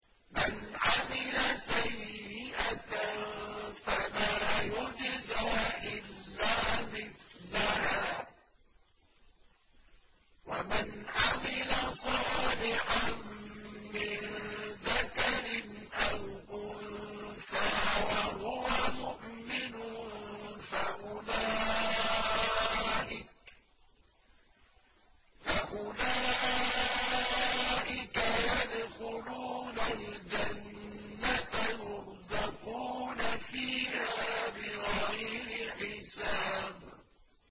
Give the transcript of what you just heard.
مَنْ عَمِلَ سَيِّئَةً فَلَا يُجْزَىٰ إِلَّا مِثْلَهَا ۖ وَمَنْ عَمِلَ صَالِحًا مِّن ذَكَرٍ أَوْ أُنثَىٰ وَهُوَ مُؤْمِنٌ فَأُولَٰئِكَ يَدْخُلُونَ الْجَنَّةَ يُرْزَقُونَ فِيهَا بِغَيْرِ حِسَابٍ